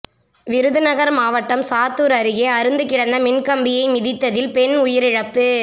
விருதுநகர் மாவட்டம் சாத்தூர் அருகே அறுந்து கிடந்த மின்கம்பியை மிதித்ததில் பெண் உயிரிழப்பு